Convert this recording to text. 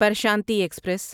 Prashanti express